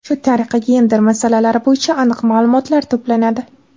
Shu tariqa, gender masalalari bo‘yicha aniq ma’lumotlar to‘planadi.